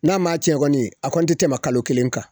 N'a m'a cɛn kɔni, a kɔni tɛ tɛmɛ kalo kelen kan.